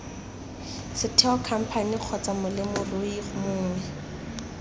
setheo khamphane kgotsa molemirui mongwe